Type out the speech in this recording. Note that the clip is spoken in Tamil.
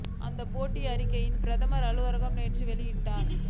அந்தப் பேட்டி அறிக் கையை பிரதமர் அலுவலகம் நேற்று வெளியிட்டது